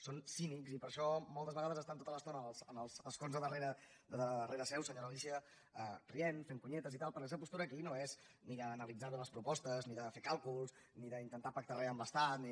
són cínics i per això moltes vegades estan tota l’estona en els escons de darrere seu senyora alícia rient fent conyetes i tal perquè la seva postura aquí no és ni d’analitzar bé les propostes ni de fer càlculs ni d’intentar pactar re amb l’estat ni